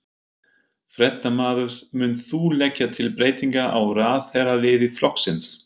Fréttamaður: Munt þú leggja til breytingar á ráðherraliði flokksins?